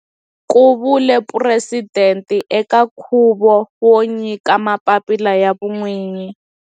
Ku vule presidente eka nkhuvo wo nyika mapapila ya vun'winyi.